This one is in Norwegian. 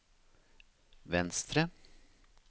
venstre